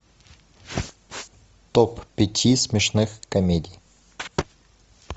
топ пяти смешных комедий